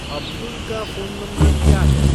अब्दुल का phone number क्या है